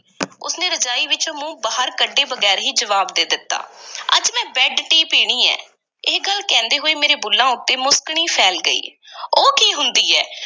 ਉਸ ਨੇ ਰਜਾਈ ਵਿਚੋਂ ਮੂੰਹ ਬਾਹਰ ਕੱਢੇ ਬਗ਼ੈਰ ਹੀ ਜਵਾਬ ਦੇ ਦਿੱਤਾ ਅੱਜ ਮੈਂ ਬੈੱਡ-ਟੀ ਪੀਣੀ ਹੈ, ਇਹ ਗੱਲ ਕਹਿੰਦੇ ਹੋਏ ਮੇਰੇ ਬੁੱਲ੍ਹਾਂ ਉੱਤੇ ਮੁਸਕਣੀ ਫੈਲ ਗਈ ਉਹ ਕੀ ਹੁੰਦੀ ਐ?